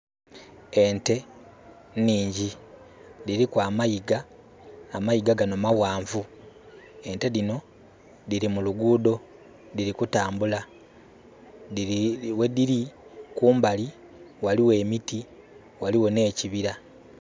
Ente nhingi. Dhiliku amayiga, amayiga gano maghanvu. Ente dhino, dhili mu lugudho, dhili kutambula. Ghedili kumbali, ghaligho emiti, ghaligho nh'ekibira.